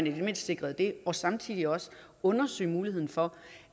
i det mindste sikrede det og samtidig også undersøge muligheden for